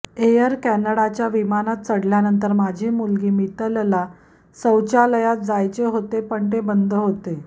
air कॅनडाच्या विमानात चढल्यानंतर माझी मुलगी मित्तलला शौचालयात जायचे होते पण ते बंद होते